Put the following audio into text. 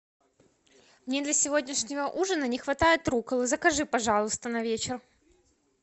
мне для сегодняшнего ужина не хватает рукколы закажи пожалуйста на вечер